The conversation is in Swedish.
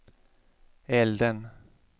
elden